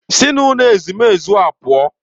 Si n'ụlọ ezumezu a pụọ!